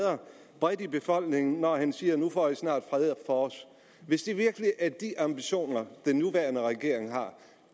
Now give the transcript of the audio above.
bredt i befolkningen når han siger nu får i snart fred for os hvis det virkelig er de ambitioner den nuværende regering har